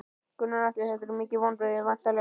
Gunnar Atli: Þetta eru mikil vonbrigði væntanlega?